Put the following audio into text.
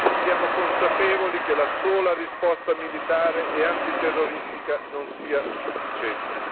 Siamo consapevoli che la sola risposta militare e antiterroristica non è sufficiente.